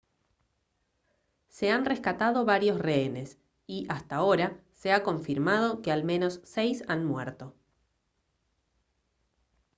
se han rescatado varios rehenes y hasta ahora se ha confirmado que al menos seis han muerto